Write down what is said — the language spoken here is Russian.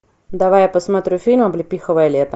давай я посмотрю фильм облепиховое лето